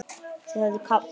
Þau höfðu kafnað.